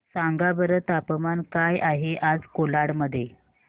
सांगा बरं तापमान काय आहे आज कोलाड मध्ये